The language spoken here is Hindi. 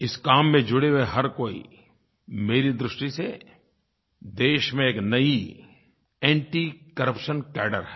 इस काम में जुड़े हुए हर कोई मेरी दृष्टि से देश में एक नई एंटीकरप्शन कैड्रे हैं